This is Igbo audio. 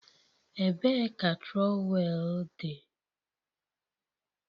Ebee ka trowel dị?